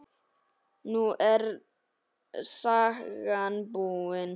Nú er sagan búin.